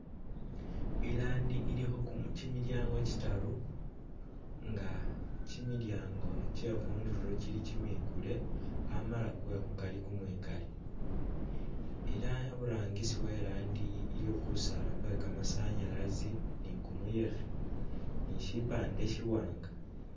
I'land ilikho kimilyango kitaru nga kimilyango kyekhundulo kili kimikule amala kwekhukari kumwikale ela aburangisi we'land aliwo kusaala kwe kamasanyalazi ni kumuyekhe ni shipande shiwanga